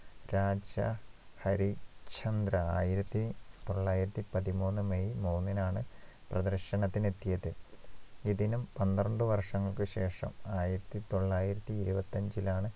രാജ ഹരിശ്ചന്ദ്ര ആയിരത്തിതൊള്ളായിരത്തിപ്പത്തിമൂന്ന് മെയ് മൂന്നിനാണ് പ്രദർശനത്തിന് എത്തിയത് ഇതിനും പന്ത്രണ്ട് വർഷങ്ങൾക്ക് ശേഷം ആയിരത്തിതൊള്ളായിരത്തിഇരുപത്തിയഞ്ചിലാണ്